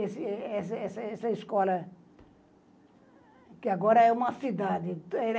Essa essa essa escola, que agora é uma cidade.